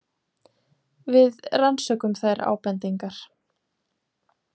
Við rannsökum þær ábendingar.